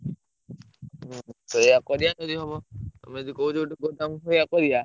ସେୟା କରିଆ ଯଦି ହବ ତମେ ଯଦି କହୁଛ ଗୋଟେ ଗୋଦାମ ଭଳିଆ କରିଆ।